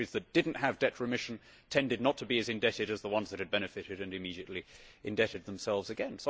The countries that did not have debt remission tended not to be as indebted as the ones that had benefited and immediately indebted themselves again.